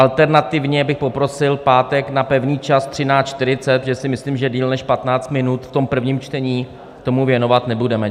Alternativně bych poprosil pátek na pevný čas 13.40, protože si myslím, že déle než 15 minut v tom prvním čtení tomu věnovat nebudeme.